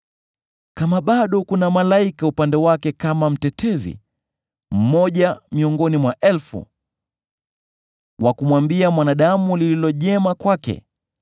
“Kama bado kuna malaika upande wake kama mtetezi, mmoja miongoni mwa elfu, wa kumwambia mwanadamu lililo jema kwake,